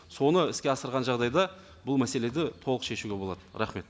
соны іске асырған жағдайда бұл мәселелерді толық шешуге болады рахмет